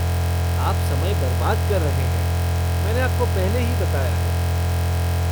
आप समय बर्बाद कर रहे हैं, मैंने आपको पहले ही बताया है।